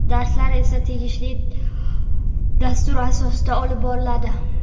Darslar esa tegishli dastur asosida olib boriladi.